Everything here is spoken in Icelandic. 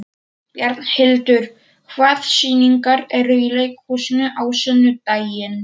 Bjarnhildur, hvaða sýningar eru í leikhúsinu á sunnudaginn?